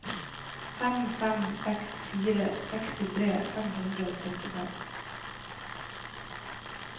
fem fem seks fire sekstifire fem hundre og trettifem